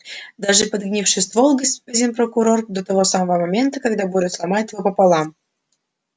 даже подгнивший ствол господин прокурор до того самого момента когда буря сломает его пополам